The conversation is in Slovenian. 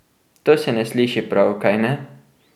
To se ne sliši prav, kajne?